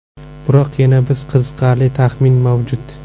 Biroq yana bir qiziqarli taxmin mavjud.